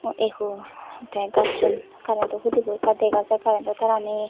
eh ho tey gacchun karento hudi bo ekka dega jai karento tarani.